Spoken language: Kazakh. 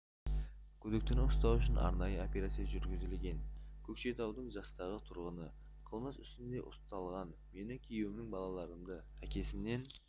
күдіктіні ұстау үшін арнайы операция жүргізілген көкшетаудың жастағы тұрғыны қылмыс үстінде ұсталған мені күйеуімнен балаларымды әкесінен